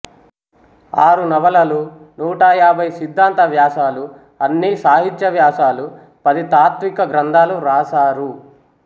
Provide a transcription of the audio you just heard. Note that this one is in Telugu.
ఆరు నవలలు నూటయాభై సిద్ధాంత వ్యాసాలు అన్నీ సాహిత్య వ్యాసాలు పది తాత్విక గ్రంథాలు రాశారు